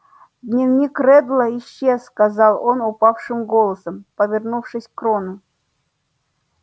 дневник реддла исчез сказал он упавшим голосом повернувшись к рону